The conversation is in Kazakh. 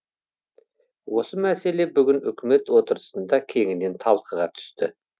осы мәселе бүгін үкімет отырысында кеңінен талқыға түсті